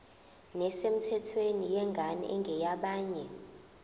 nesemthethweni yengane engeyabanye